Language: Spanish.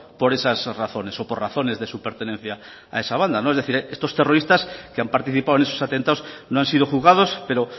por esas razones o por razones de su pertenencia a esa banda es decir estos terroristas que han participado en esos atentados no han sido juzgados pero